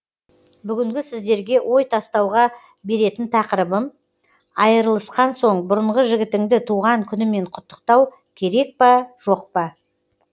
бүгінгі сіздерге ой тастауға беретін тақырыбым айырылысқан соң бұрынғы жігітінді туған күнімен құттықтау керек па жоқ па